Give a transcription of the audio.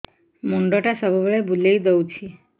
ମୁଣ୍ଡଟା ସବୁବେଳେ ବୁଲେଇ ଦଉଛି